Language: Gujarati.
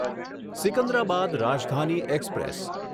સિકંદરાબાદ રાજધાની એક્સપ્રેસ